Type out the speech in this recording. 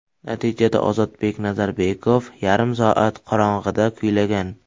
Natijada, Ozodbek Nazarbekov yarim soat qorong‘ida kuylagan.